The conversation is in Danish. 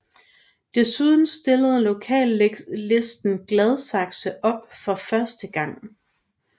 Desuden stillede Lokallisten Gladsaxe op for første gang